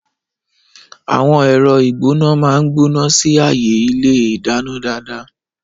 Àwọn ẹ̀rọ ìgbóná máa ń gbóná sí ààyè ilé ìdáná dáadáa.